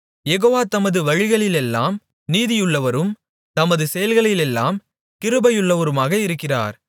யெகோவா தமது வழிகளிலெல்லாம் நீதியுள்ளவரும் தமது செயல்களிலெல்லாம் கிருபையுள்ளவருமாக இருக்கிறார்